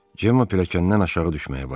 Cemma pilləkəndən aşağı düşməyə başladı.